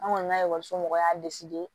An kɔni ka ekɔliso mɔgɔw y'a